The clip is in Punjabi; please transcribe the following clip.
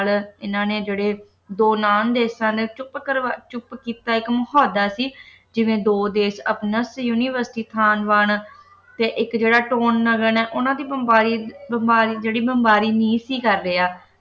ਇਨ੍ਹਾਂ ਨੇ ਜਿਹੜੇ ਦੋ ਨਾਮ ਦੇ ਦੇਸ਼ਾਂ ਦੇ ਇੱਕ ਚੁੱਪ ਕਰਵਾ ਚੁੱਪ ਕੀਤਾ ਇਕ ਮਹੋਦਾ ਸੀ ਜਿਵੇਂ ਦੋ ਦੇਸ਼ university ਥਾਨਵਾਨ ਤੇ ਇੱਕ ਜਿਹੜਾ ਹੈ ਉਨ੍ਹਾਂ ਦੀ ਬੰਬਾਰੀ`ਬੰਬਾਰੀ ਜਿਹੜੀ ਬੰਬਾਰੀ ਨਹੀਂ ਸੀ ਕਰ ਰਿਹਾ